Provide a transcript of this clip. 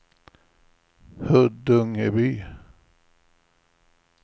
Huddungeby